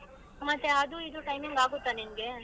ಮತ್ತೆ ಅದೂ ಇದೂ timing ಆಗುತ್ತಾ ನಿನ್ಗೆ?